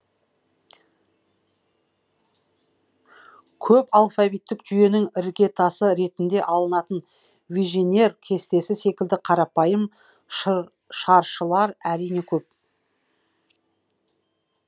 көп алфавиттік жүйенің іргетасы ретінде алынатын виженер кестесі секілді қарапайым шаршылар әрине көп